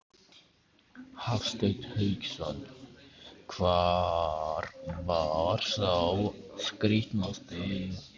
Hafsteinn Hauksson: Hvar var sá skrítnasti?